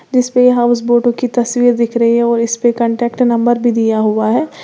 जिस पे हाउस बोटो की तस्वीर दिख रही है और इस पे कांटेक्ट नंबर भी दिया हुआ है।